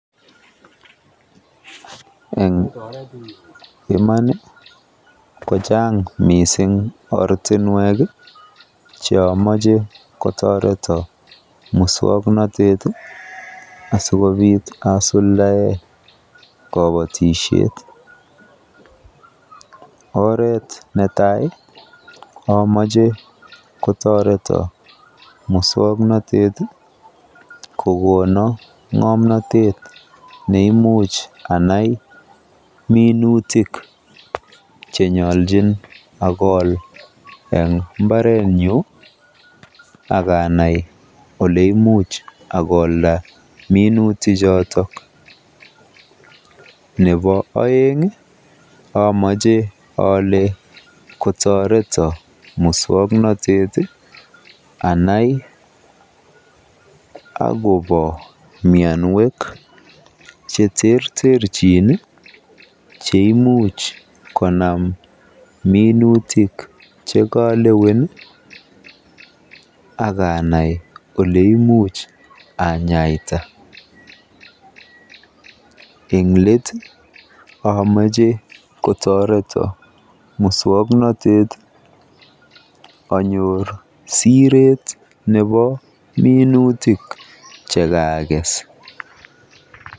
Eng iman ko chaang mising ortinwek cheamache kotoreto muswoknotet asikobiit asuldae kobotisiet. Oret netai amache kotoreto muswoknotet anyoor ng'omnatet neimuch anai minutik cheimuch akool mbarretnyu akanai oleimuch akolda minutichoto. Nebo oeng amache ale kotoreto muswoknotet anai akobo mianwek cheterterchin cheimuch konam minutik chekalewen akanai oleimuch anyaita. Nebo leet amache kotoreto muswoknotet anyor siret nebo kesuutik chekaakes.